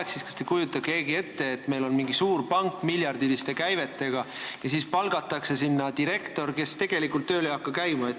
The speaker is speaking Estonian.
Kas teist keegi kujutab ette, et meil on mingi suur, miljardiliste käivetega pank, kuhu palgatakse direktor, kes tegelikult ei hakka tööl käima?